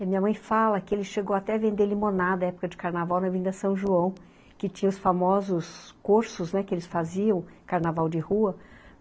Minha mãe fala que ele chegou até a vender limonada na época de carnaval na Avenida São João, que tinha os famosos cursos, né, que eles faziam, carnaval de rua.